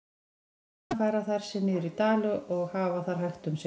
Á veturna færa þær sig niður í dali og hafa þar hægt um sig.